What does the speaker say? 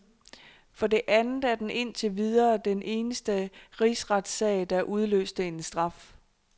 For det andet er den indtil videre den eneste rigsretssag, der udløste en straf.